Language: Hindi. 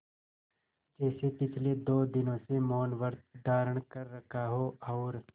जैसे पिछले दो दिनों से मौनव्रत धारण कर रखा हो और